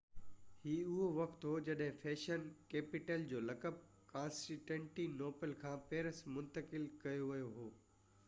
هي اُهو وقت هو جڏهن فيشن ڪيپيٽل جو لقب ڪانسٽينٽي نوپل کان پئرس منتقل ڪيو ويو هو